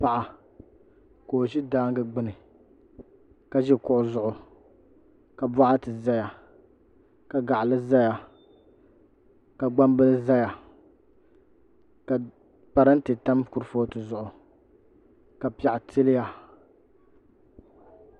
Paɣa ka o ʒi daangi gbuni ka ʒi kuɣu zuɣu ka boɣiti ʒɛya ka gaɣali ʒɛya ka gbambili ʒɛya ka boɣati tam kuripooti zuɣu ka piɛɣu tiliya